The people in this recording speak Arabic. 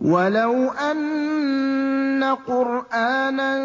وَلَوْ أَنَّ قُرْآنًا